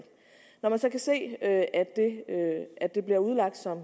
når man så kan se at at det bliver udlagt som